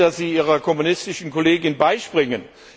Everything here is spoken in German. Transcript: Ich verstehe, dass Sie Ihrer kommunistischen Kollegin beispringen.